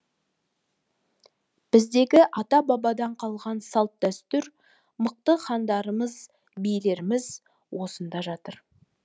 біздегі ата бабадан қалған салт дәстүр мықты хандарымыз билеріміз осында жатыр